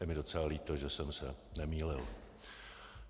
Je mi docela líto, že jsem se nemýlil.